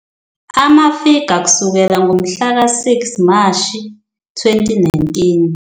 Amafiga kusukela ngomhla ka-6 Mashi 2019